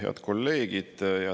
Head kolleegid!